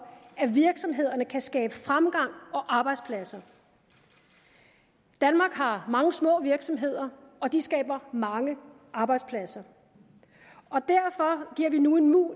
at virksomhederne kan skabe fremgang og arbejdspladser danmark har mange små virksomheder og de skaber mange arbejdspladser derfor giver vi nu en